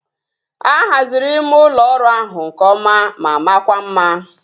A haziri ime ụlọ ọrụ ahụ nke ọma ma makwa mma